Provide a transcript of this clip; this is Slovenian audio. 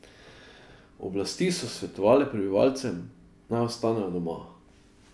Oblasti so svetovale prebivalcem, naj ostanejo doma.